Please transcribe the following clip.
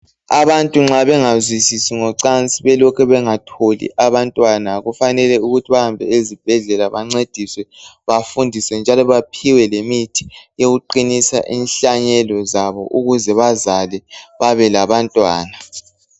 Abantu nxa bengazwisisi ngocansi belokhe bengatholi abantwana kufanele bahambe ezibhedlela bancediswe njalo baphiwe lemithi yokuqinisa inhlanyelo zabo ukuze bazale babelabantwana.